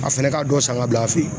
A fɛnɛ ka dɔ san ka bila a fɛ yen